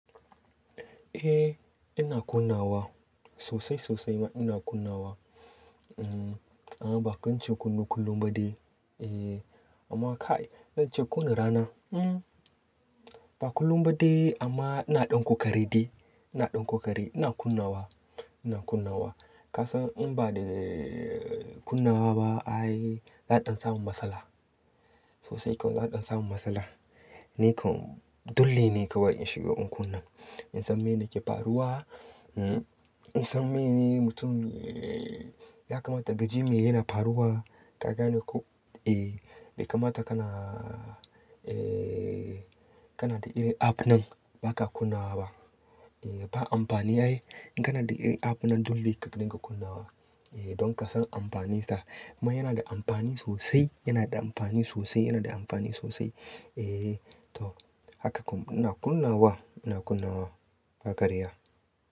Eh ina kunnawa sosai sosai ina kunnawa. A'a ba kance kunnu kullum baɗi eh amma ka ce kuna rana? Mm ba kullum baɗi amma ina ɗanko kareɗi, ina ɗanko kare ina kunnawa, ina kunnawa. Ka san in ba da kunnawa ba ay za a ɗan samu matsala. Sosai kawai za a ɗan samu matsala. Nikan dulli ne kawai in shiga in kunna In san mene ke faruwa, in san mene mutum ya kamata gaji me yana faruwa. Ka gane ko? Eh bai kamata kana, eh kana da ire app nan baka kunnawa ba. Eh ba amfani aye. In kana da ire app nan dulli ka dinga kunnawa eh don ka san amfaninsa. Amma yana da amfani sosai, yana da amfani sosai, yana da amfani sosai. Eh to haka kawai ina kunnawa, ina kunnawa ba karya.